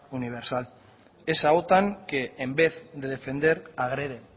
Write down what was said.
universal esa otan que en vez de defender agrede